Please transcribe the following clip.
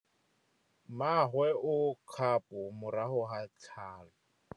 Mmagwe o kgapô morago ga tlhalô.